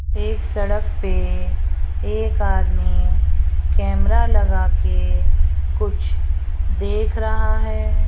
इस सड़क पे एक आदमी कैमरा लगा के कुछ देख रहा है।